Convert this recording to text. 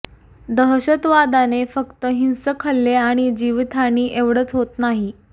दशहतवादाने फक्त हिंसक हल्ले आणि जीवितहानी एवढेच होत नाही